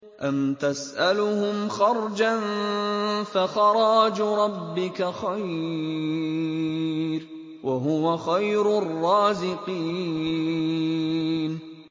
أَمْ تَسْأَلُهُمْ خَرْجًا فَخَرَاجُ رَبِّكَ خَيْرٌ ۖ وَهُوَ خَيْرُ الرَّازِقِينَ